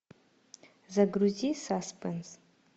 загрузи саспенс